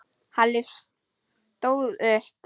Halli stóð upp.